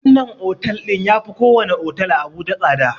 Wannan otel ɗin yafi ko wani otel a abuja tsada